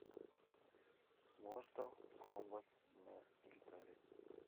мортал комбат на гитаре